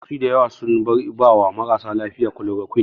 Likitoci da yawa sun bar ba wa marasa lafiya kulorokwin